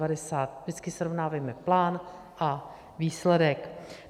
Vždycky srovnávejme plán a výsledek.